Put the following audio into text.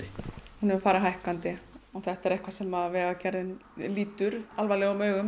hún hefur farið hækkandi þetta er eitthvað sem Vegagerðin lítur alvarlegum augum